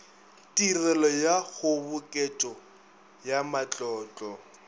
tirelo ya kgoboketšo ya matlotlo